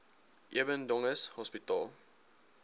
eben dönges hospitaal